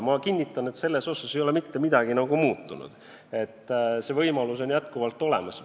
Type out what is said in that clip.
Ma kinnitan, et selles mõttes ei ole mitte midagi muutunud, see võimalus on ikka olemas.